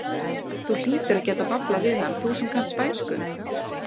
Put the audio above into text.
Þú hlýtur að geta bablað við hann, þú sem kannt spænsku!